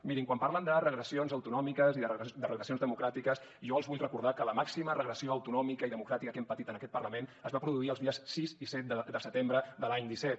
mirin quan parlen de regressions autonòmiques i de regressions democràtiques jo els vull recordar que la màxima regressió autonòmica i democràtica que hem patit en aquest parlament es va produir els dies sis i set de setembre de l’any disset